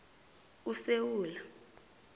usewula